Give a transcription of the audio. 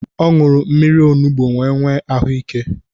Ọ ñụrụ mmírí onugbu wee nwee ahụ ike.